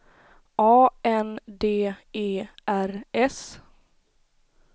A N D E R S